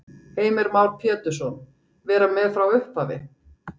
Heimir Már Pétursson: Vera með frá upphafi?